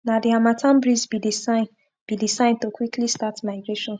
na the harmattan breeze be the sign be the sign to quickly start migration